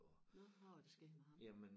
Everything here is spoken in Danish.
Nåh hvad var der sket med ham?